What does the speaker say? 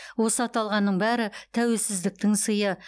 осы аталғанның бәрі тәуелсіздіктің сыйы